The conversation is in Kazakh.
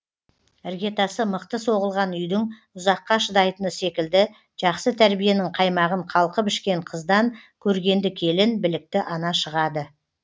іргетасы мықты соғылған үйдің ұзаққа шыдайтыны секілді жақсы тәрбиенің қаймағын қалқып ішкен қыздан көргенді келін білікті ана шығады